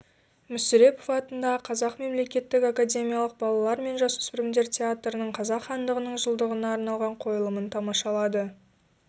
мүсірепов атындағы қазақ мемлекеттік академиялық балалар мен жасөспірімдер театрының қазақ хандығының жылдығына арналған қойылымын тамашалады